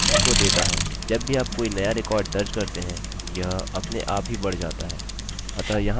जब भी आप कोई नया रिकॉर्ड दर्ज़ करते हैंयह अपने आप ही बढ़ जाता है